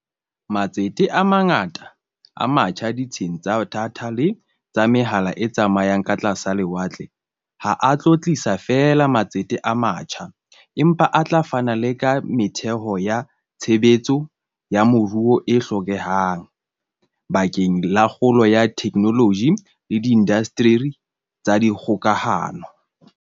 Matsete a mangata a matjha ditsheng tsa datha le tsa mehala e tsamayang ka tlasa lewatle ha a tlo tlisa feela matsete a matjha, empa a tla fana le ka metheo ya tshebetso ya moruo e hlokehang bakeng la kgolo ya theknoloji le diindasteri tsa dikgokahano.